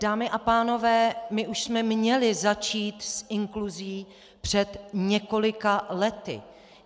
Dámy a pánové, my už jsme měli začít s inkluzí před několika lety.